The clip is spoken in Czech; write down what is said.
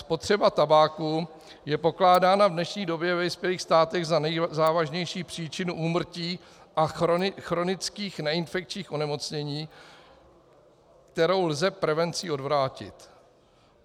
Spotřeba tabáku je pokládána v dnešní době ve vyspělých státech za nejzávažnější příčinu úmrtí a chronických neinfekčních onemocnění, kterou lze prevencí odvrátit.